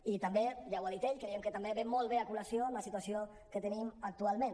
i també ja ho ha dit ell creiem que també es porta molt bé a col·lació amb la situació que tenim actualment